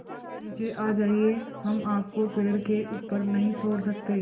आप नीचे आ जाइये हम आपको पेड़ के ऊपर नहीं छोड़ सकते